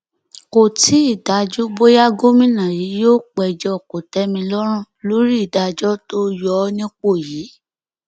kò tí ì dájú bóyá gómìnà yìí yóò péjọ kòtẹmílọrùn lórí ìdájọ tó yọ ọ nípò yìí